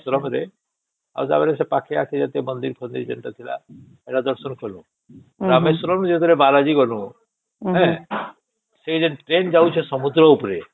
ରାମେଶ୍ୱରମ ରେ ଆଉ ସେଠି ପାଖେ ଆଖେ ଯୋଉ ମନ୍ଦିର ମାନେ ଥିଲା ସେଟା ଦର୍ଶନ କଲୁ ରାମେଶ୍ୱରମ ଫେର ବାଲାଜୀ ଗଲୁ ହିଁ ସେ ଟ୍ରେନ ଯାଉଛେ ସମୁଦ୍ର ଉପରେ